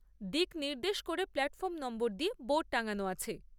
দিক নির্দেশ করে প্ল্যাটফর্ম নম্বর দিয়ে বোর্ড টাঙ্গানো আছে।